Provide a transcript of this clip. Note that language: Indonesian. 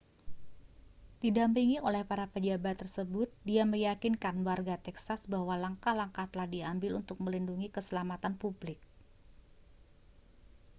didampingi oleh para pejabat tersebut dia meyakinkan warga texas bahwa langkah-langkah telah diambil untuk melindungi keselamatan publik